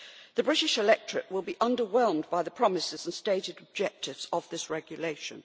The British electorate will be underwhelmed by the promises and stated objectives of this regulation.